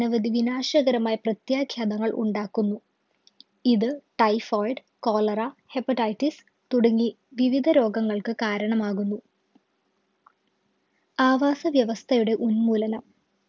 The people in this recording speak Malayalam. അനവധി വിനാശകരമായ പ്രത്യാഘ്യാതങ്ങൾ ഉണ്ടാക്കുന്നു ഇത് TyphoidCholeraHepatitis തുടങ്ങി വിവിധ രോഗങ്ങൾക്ക് കാരണമാകുന്നു ആവാസവ്യവസ്ഥയുടെ ഉന്മൂലനം